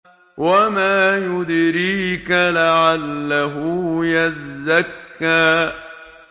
وَمَا يُدْرِيكَ لَعَلَّهُ يَزَّكَّىٰ